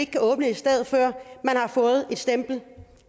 kan åbne et sted før man har fået et stempel